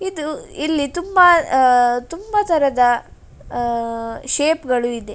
ಇದು ಇಲ್ಲಿ ತುಂಬಾ ಅಹ್ ತುಂಬಾ ತರದ ಅಹ್ ಶೇಪ್ ಗಳಿದೆ .